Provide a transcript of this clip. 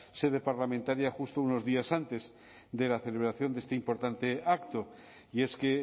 sede parlamentaria justo unos días antes de la celebración de este importante acto y es que